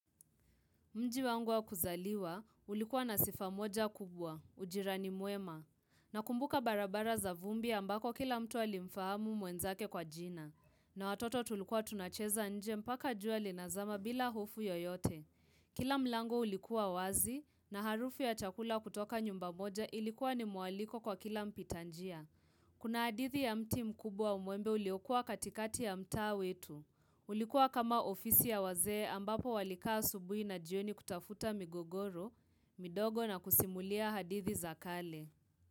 Mji wangu wa kuzaliwa, ulikuwa na sifa moja kubwa, ujirani mwema, nakumbuka barabara za vumbi ambako kila mtu alimfahamu mwenzake kwa jina, na watoto tulikuwa tunacheza nje mpaka jua linazama bila hofu yoyote. Kila mlango ulikuwa wazi, na harufu ya chakula kutoka nyumba moja ilikuwa ni mwaliko kwa kila mpitanjia. Kuna hadithi ya mti mkubwa wa mwembe uliokua katikati ya mtaa wetu. Ulikua kama ofisi ya wazee ambapo walikaa asubui na jioni kutafuta migogoro, midogo na kusimulia hadithi za kale.